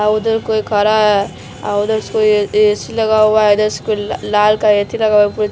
उधर कोई खा रहा है उधर कोई ऐसी लगा हुआ है इधर कोई लाल का एसी लगा हुआ।